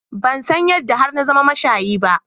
Ban san yadda har na zama mashayi ba.